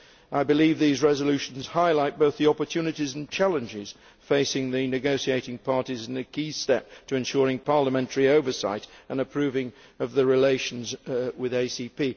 I believe these resolutions highlight both the opportunities and challenges facing the negotiating parties in a key step to ensuring parliamentary oversight and approving of the relations with ACP.